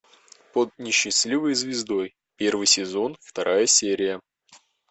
под несчастливой звездой первый сезон вторая серия